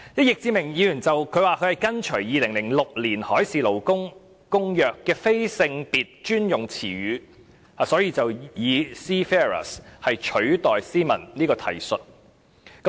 易志明議員說他是跟隨《2006年海事勞工公約》的"非性別專用詞語"，所以以 "Seafarers" 取代 "Seamen" 這個提述。